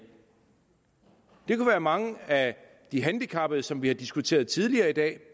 det kunne være mange af de handicappede som vi har diskuteret tidligere i dag